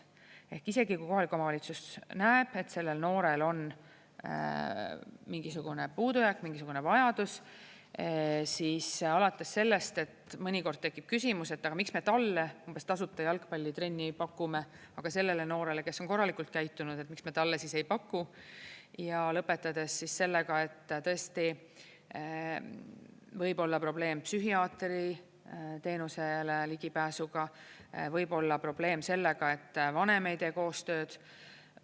Ehk isegi kui kohalik omavalitsus näeb, et sellel noorel on mingisugune puudujääk, mingisugune vajadus, siis alates sellest, et mõnikord tekib küsimus, et miks me talle umbes tasuta jalgpallitrenni pakume, aga sellele noorele, kes on korralikult käitunud, miks me talle ei paku, ja lõpetades sellega, et tõesti võib olla probleem psühhiaatri teenusele ligipääsuga, võib olla probleem sellega, et vanem ei tee koostööd.